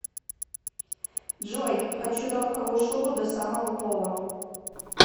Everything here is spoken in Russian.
джой хочу норковую шубу до самого пола